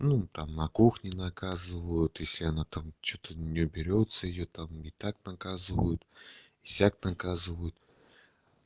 ну там на кухне наказывают если она там что-то не уберётся её там и так наказывают и сяк наказывают